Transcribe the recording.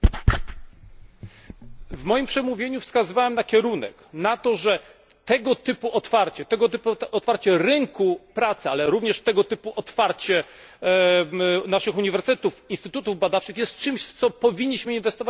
W moim przemówieniu wskazywałem na kierunek, na to, że tego typu otwarcie rynku pracy, ale również tego typu otwarcie naszych uniwersytetów, instytutów badawczych jest czymś, w co powinniśmy inwestować, ponieważ to się nam zwraca.